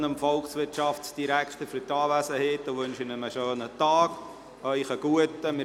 Ich danke dem Volkswirtschaftsdirektor für seine Anwesenheit, wünsche ihm einen schönen Tag und Ihnen einen guten Appetit.